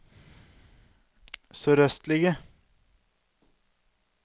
sørøstlige